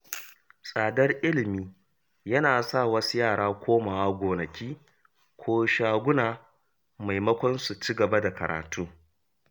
Tsadar ilimi yana sa wasu yara komawa gonaki ko shaguna maimakon su cigaba da karatu.